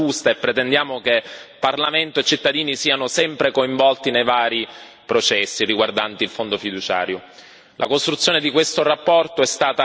Speriamo che sia la strada giusta e pretendiamo che Parlamento e cittadini siano sempre coinvolti nei vari processi riguardanti il Fondo fiduciario.